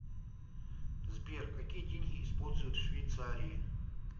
сбер какие деньги используют в швейцарии